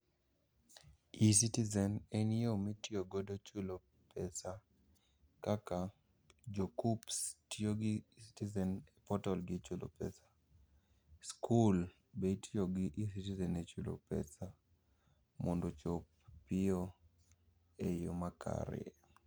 E-Citizen en yoo mitiyogodo chulo pesa kaka jo KUCCPS tiyo gi e-Citzen e portal gi e chulo pesa. Skul be itiyogi e-Citizen e chulo pesa mondo ochop piyo e yo makare.